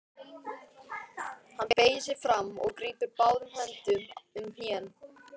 Hann beygir sig fram og grípur báðum höndum um hnén.